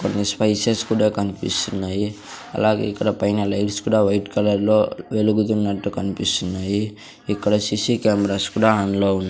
కొన్ని స్పైసెస్ కూడా కనిపిస్తున్నాయి అలాగే ఇక్కడ పైన లైట్స్ కూడా వైట్ కలర్ లో వెలుగుతున్నట్టు కనిపిస్తున్నాయి. ఇక్కడ సి_సి కెమెరాస్ కూడా ఆన్ లో ఉన్నా --